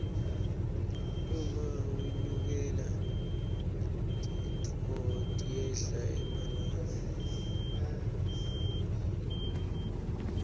uma wlnyukile tintfo tiyehla emarani